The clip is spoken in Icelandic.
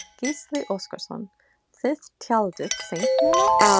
Gísli Óskarsson: Þið tjaldið seint núna?